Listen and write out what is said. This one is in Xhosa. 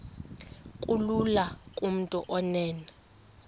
kulula kumntu onen